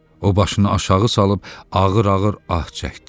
O başını aşağı salıb ağır-ağır ah çəkdi.